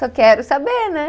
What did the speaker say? Só quero saber, né?